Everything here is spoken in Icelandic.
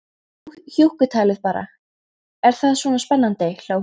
Nú hjúkkutalið bara, er það svona spennandi, hló hún.